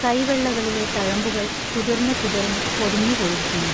കൈവെള്ളകളിലെ തഴമ്പുകൾ കുതിർന്നു കുതിർന്നു പൊടിഞ്ഞു പോയിരിക്കുന്നു.